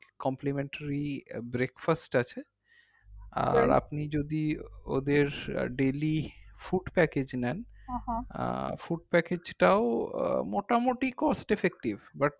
complementary breakfast আছে ah আপনি যদি ওদের daily food package নেন food package টাও মোটামুটি cost effective but